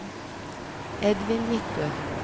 Edvin Midtbø